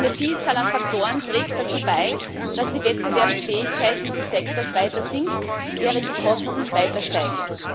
Eine Vielzahl an Faktoren trägt dazu bei, dass die Wettbewerbsfähigkeit dieses Sektors weiter sinkt, während die Kosten weiter steigen.